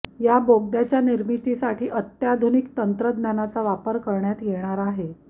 या बोगद्याच्या निर्मितीसाठी अत्याधुनिक तंत्रज्ञानाचा वापर करण्यात येणार आहे